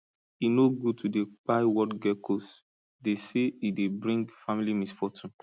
e no good to dey kpai wall geckos dey say e dey bring family misfortune